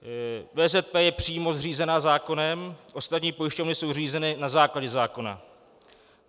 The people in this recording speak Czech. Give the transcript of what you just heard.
VZP je přímo zřízena zákonem, ostatní pojišťovny jsou zřízeny na základě zákona.